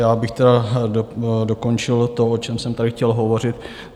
Já bych teda dokončil to, o čem jsem tady chtěl hovořit.